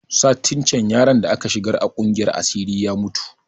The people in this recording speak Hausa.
Satin can yaron da aka shigar da a kungiyar asiri ya mutu